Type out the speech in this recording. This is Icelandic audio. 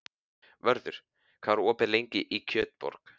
Vörður, hvað er opið lengi í Kjötborg?